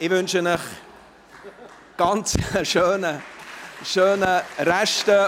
Ich wünsche Ihnen einen schönen Rest.